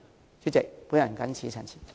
代理主席，我謹此陳辭。